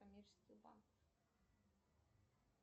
коммерческий банк